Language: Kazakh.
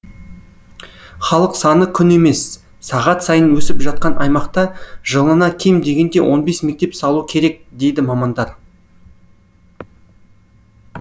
халық саны күн емес сағат сайын өсіп жатқан аймақта жылына кем дегенде он бес мектеп салу керек дейді мамандар